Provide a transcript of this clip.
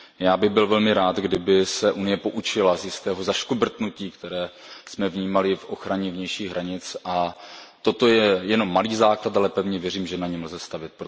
Já bych byl velmi rád, kdyby se Unie poučila z jistého zaškobrtnutí, které jsme vnímali v ochraně vnějších hranic, a toto je jenom malý základ, ale pevně věřím, že na něm lze stavět.